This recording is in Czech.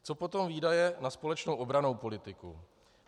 Co potom výdaje na společnou obrannou politiku?